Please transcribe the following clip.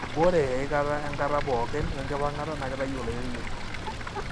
ore eikata enkata pooki wekipangata na kitayu oloirerio.